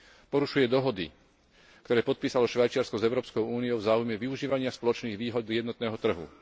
porušuje dohody, ktoré podpísalo Švajčiarsko s Európskou úniou v záujme využívania spoločných výhod jednotného trhu.